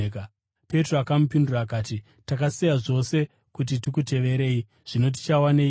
Petro akamupindura akati, “Takasiya zvose kuti tikuteverei! Zvino tichawaneiko?”